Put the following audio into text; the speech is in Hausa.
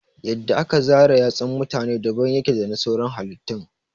Yadda aka zara yatsun mutane daban yake dana sauran halittun